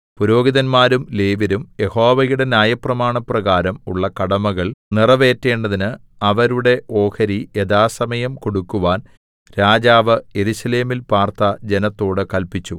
പുരോഹിതന്മാരും ലേവ്യരും യഹോവയുടെ ന്യായപ്രമാണപ്രകാരം ഉള്ള കടമകൾ നിറവേറ്റേണ്ടതിന് അവരുടെ ഓഹരി യഥാസമയം കൊടുക്കുവാൻ രാജാവ് യെരൂശലേമിൽ പാർത്ത ജനത്തോട് കല്പിച്ചു